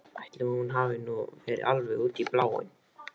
Ætli hún hafi nú verið alveg út í bláinn.